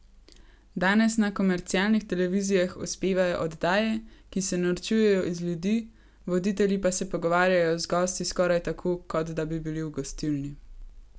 Danes na komercialnih televizijah uspevajo oddaje, ki se norčujejo iz ljudi, voditelji pa se pogovarjajo z gosti skoraj tako, kot da bi bili v gostilni.